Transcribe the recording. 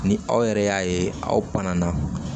Ni aw yɛrɛ y'a ye aw